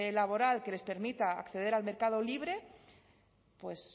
laboral que les permita acceder al mercado libre